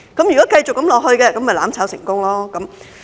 如果繼續這樣下去，就"攬炒"成功。